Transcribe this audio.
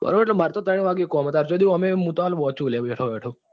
બરોબર ઈટલે મારે તો ત્રણ વાગે કામ છે ત્યાર્જો સુધી વાંચું છું લ્યા બેઠો બેઠો.